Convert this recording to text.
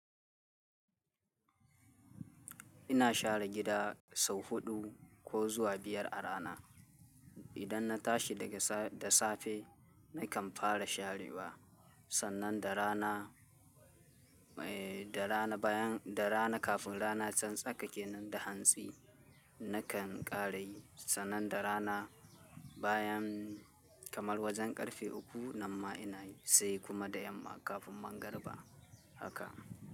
Ina share gida sau huɗu ko zuwa biyar a rana. Idan na tashi daga da safe nakan fara sharewa, sannan da rana, eh da rana bayan, da rana kafin rana tsantsake nan da hantsi nakan ƙare yi. Sannan da rana bayan kamar wajen ƙarfe uku, nan ma ina yi, sai kuma da yamma kafin magriba haka.